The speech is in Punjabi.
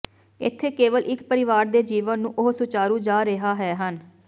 ਇੱਥੇ ਕੇਵਲ ਇੱਕ ਪਰਿਵਾਰ ਦੇ ਜੀਵਨ ਨੂੰ ਉਹ ਸੁਚਾਰੂ ਜਾ ਰਿਹਾ ਹੈ ਹਨ